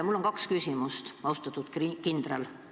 Mul on kaks küsimust, austatud kindral.